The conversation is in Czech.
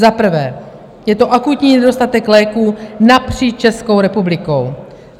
Za prvé je to akutní nedostatek léků napříč Českou republikou.